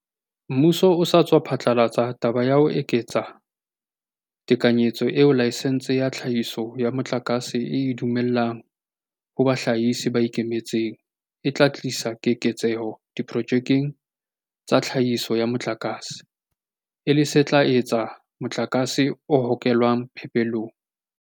Mmuso o sa tswa phatlalatsa taba ya ho eketsa tekanyetso eo laesense ya tlhahiso ya motlakase e e dumellang ho bahlahisi ba ikemetseng e tla tlisa keketseho diprojekeng tsa tlhahiso ya motlakase, e le se tla eketsa motlakase o hokelwang phepelong.